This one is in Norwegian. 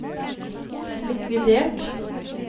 likvidert